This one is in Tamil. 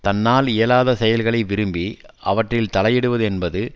தன்னால் இயலாத செயல்களை விரும்பி அவற்றில் தலையிடுவது என்பது